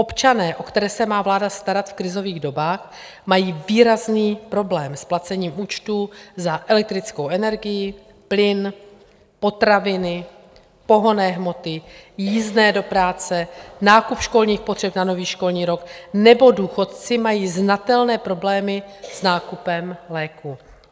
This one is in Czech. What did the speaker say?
Občané, o které se má vláda starat v krizových dobách, mají výrazný problém s placením účtů za elektrickou energii, plyn, potraviny, pohonné hmoty, jízdné do práce, nákup školních potřeb na nový školní rok, nebo důchodci mají znatelné problémy s nákupem léků.